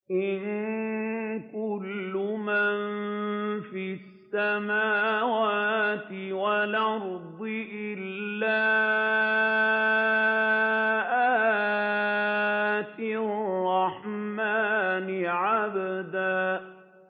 إِن كُلُّ مَن فِي السَّمَاوَاتِ وَالْأَرْضِ إِلَّا آتِي الرَّحْمَٰنِ عَبْدًا